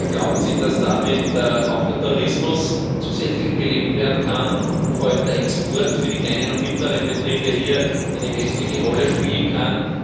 Glauben Sie, dass damit auch der Tourismus zusätzlich belebt werden kann und vor allem der Export für die kleinen und mittleren Betriebe eine wesentliche Rolle spielen kann?